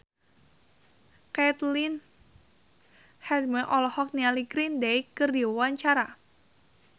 Caitlin Halderman olohok ningali Green Day keur diwawancara